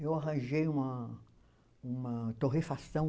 Eu arranjei uma uma torrefação.